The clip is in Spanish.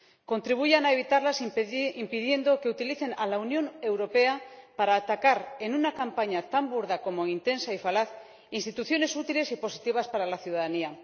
Contribuyan a evitarlas impidiendo que utilicen a la Unión Europea para atacar —en una campaña tan burda como intensa y falaz— instituciones útiles y positivas para la ciudadanía.